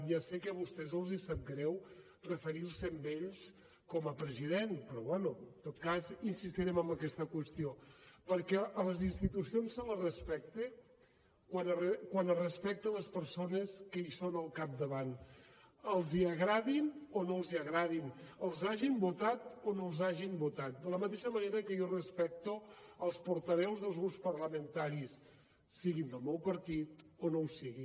ja sé que a vostès els sap greu referir se a ell com a president però bé en tot cas insistirem en aquesta qüestió perquè a les institucions se les respecta quan es respecten les persones que són al capdavant els agradin o no els agradin els hagin votat o no els hagin votat de la mateixa manera que jo respecto els portaveus dels grups parlamentaris siguin del meu partit o no ho siguin